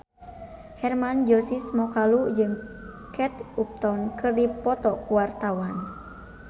Hermann Josis Mokalu jeung Kate Upton keur dipoto ku wartawan